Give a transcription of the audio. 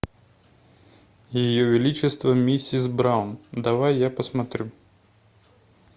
ее величество миссис браун давай я посмотрю